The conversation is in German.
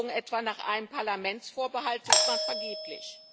Forderungen etwa nach einem Parlamentsvorbehalt sucht man vergeblich.